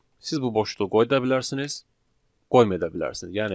Siz bu boşluğu qoya da bilərsiniz, qoymaya da bilərsiniz.